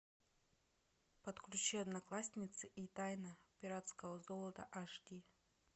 подключи одноклассницы и тайна пиратского золота аш ди